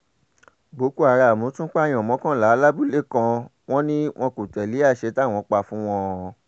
boko haram tún pààyàn mọ́kànlá lábúlé kan wọn ni wọn kò tẹ̀lé àsè táwọn pa fún wọn ọ́n